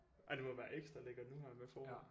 Ej det må være ekstra lækkert nu her med forår